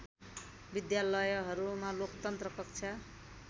विद्यालयहरूमा लोकतन्त्र कक्षा